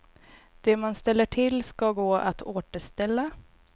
Det man ställer till ska gå att återställa.